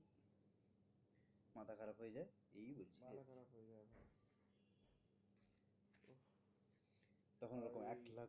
ওরকম একলা